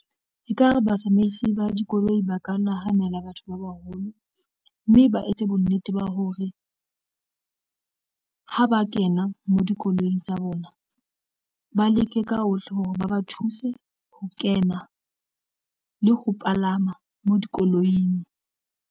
Ekare batsamaisi ba dikoloi ba ka nahanela batho ba baholo, mme ba etse bonnete ba hore ha ba kena mo dikoloing tsa bona, ba leke ka hohle hore ba ba thuse ho kena le ho palama mo dikoloing.